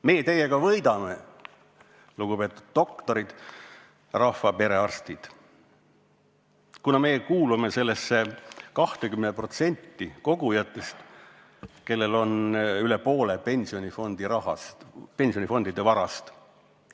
Meie teiega võidame, lugupeetud doktorid, rahva perearstid, kuna meie kuulume nende 20% kogujate hulka, kellel on üle poole pensionifondide varast.